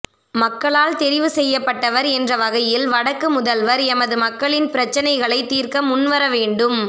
மக்களால் தெரிவு செய்யப்பட்டவர் என்ற வகையில் வடக்கு முதல்வர் எமது மக்களின் பிரச்சினைகளைத் தீர்க்க முன்வர வேண்டும்